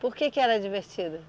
Por que que era divertido?